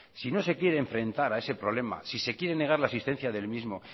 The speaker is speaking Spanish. si no se quiere enfrentar a ese problema si se quiere negar la existencia del mismo